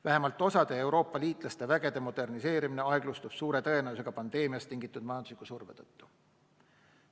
Vähemalt osa Euroopa liitlaste vägede moderniseerimine suure tõenäosusega pandeemiast tingitud majandusliku surve tõttu aeglustub.